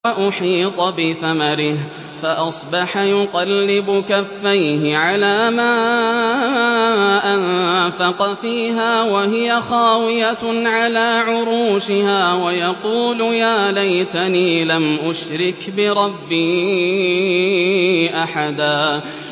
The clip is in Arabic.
وَأُحِيطَ بِثَمَرِهِ فَأَصْبَحَ يُقَلِّبُ كَفَّيْهِ عَلَىٰ مَا أَنفَقَ فِيهَا وَهِيَ خَاوِيَةٌ عَلَىٰ عُرُوشِهَا وَيَقُولُ يَا لَيْتَنِي لَمْ أُشْرِكْ بِرَبِّي أَحَدًا